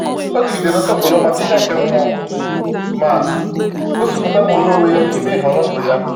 Ọ jigidere nsọpụrụ maka ihe nke mmụọ, ma gosipụta nnwere onwe ya n’ime nhọrọ ndụ ya.